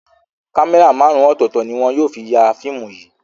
Kámẹ́rà márùn-ún ọ̀tọ̀ọ̀tọ̀ ni wọn yóò fi ya fíìmù yìí.